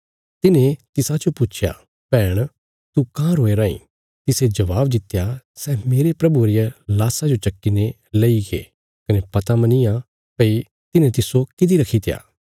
तिन्हें तिसाजो पुच्छया भैहण तू काँह रोया राईं तिसे जबाब दित्या सै मेरे प्रभुये रिया लाशा जो चक्की ने लई गये कने पता मनी या भई तिन्हें तिस्सो किति रखीत्या